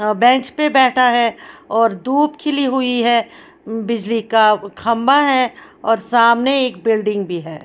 अ bench पे बैठा हैऔर धूप खिली हुई है बिजली का खंबा है और सामने एक बिल्डिंग भी है।